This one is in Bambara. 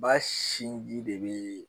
Ba sinji de be